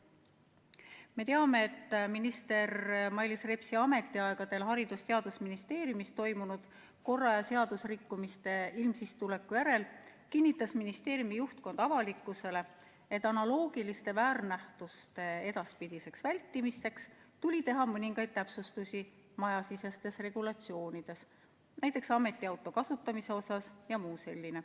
Me teame, et minister Mailis Repsi ametiaegadel Haridus- ja Teadusministeeriumis toimunud korra- ja seadusrikkumiste ilmsikstuleku järel kinnitas ministeeriumi juhtkond avalikkusele, et analoogiliste väärnähtuste edaspidiseks vältimiseks tuli teha mõningaid täpsustusi majasisestes regulatsioonides, näiteks ametiauto kasutamise kohta jms.